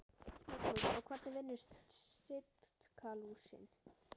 Magnús: Og hvernig vinnur Sitkalúsin?